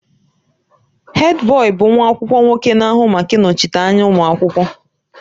Hèdbọyi bụ nwa akwụkwọ nwoke na-ahụ maka ịnọchite anya ụmụ akwụkwọ.